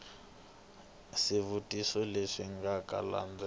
swivutiso leswi nga ta landzela